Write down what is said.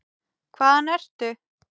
Hvaðan ertu?